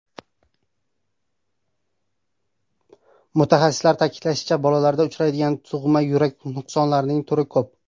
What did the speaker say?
Mutaxassislar ta’kidlashicha, bolalarda uchraydigan tug‘ma yurak nuqsonlarining turi ko‘p.